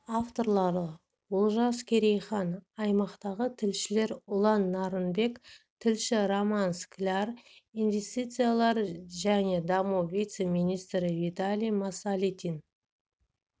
авторлары олжас керейхан аймақтағы тілшілер ұлан нарынбек тілші роман скляр инвестициялар және даму вице-министрі виталий масалитин